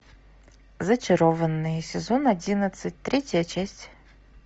зачарованные сезон одиннадцать третья часть